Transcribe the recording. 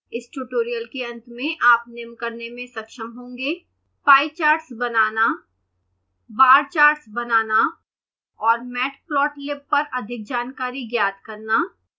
इस ट्यूटोरियल के अंत में आप निम्न करने में सक्षम होंगेः